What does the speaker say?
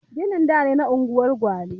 Ginin da ne a unguwar gwale